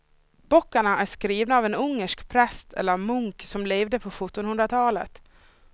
Böckerna är skrivna av en ungersk präst eller munk som levde på sjuttonhundratalet.